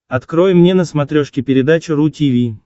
открой мне на смотрешке передачу ру ти ви